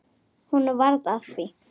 Honum varð að því.